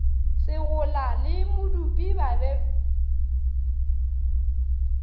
segola le modupi ba be